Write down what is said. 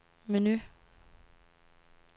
menu